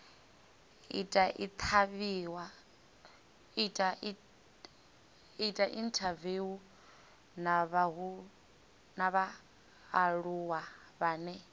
ita inthaviwu na vhaaluwa vhane